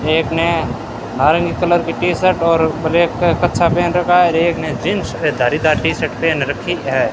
एक ने नारंगी कलर के टी-शर्ट और ब्लैक कच्छा पहन रखा और एक ने जींस धारी दार टी-शर्ट पहन रखी है।